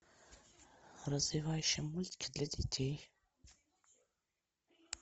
развивающие мультики для детей